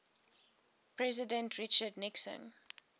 president richard nixon